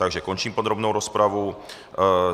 Takže končím podrobnou rozpravu.